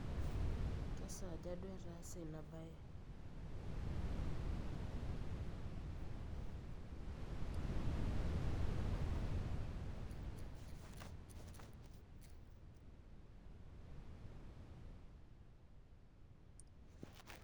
kesaaja duo etaase ina baye?